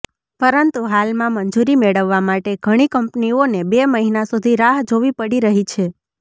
પરંતુ હાલમાં મંજૂરી મેળવવા માટે ઘણી કંપનીઓને બે મહિના સુધી રાહ જોવી પડી રહી છે